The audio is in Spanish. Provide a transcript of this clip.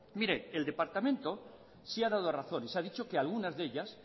el departamento sí ha dado razones ha dicho que algunas de ellas